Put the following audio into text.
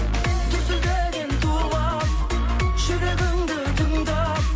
дүрсілдеген тулап жүрегіңді тыңдап